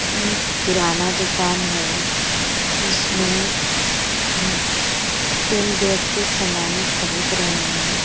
एक किराना दुकान है इसमें हुम् तीन व्यक्ति समाने खरीद रहे हैं।